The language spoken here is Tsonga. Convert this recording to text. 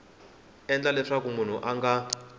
endla leswaku munhu a nga